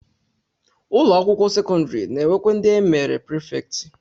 Ụlọakwụkwọ sekọndịrị na-enwekwa ndị e mere prifektị